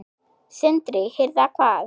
Sindri: Hirða hvað?